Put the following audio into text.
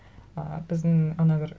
і біздің ана бір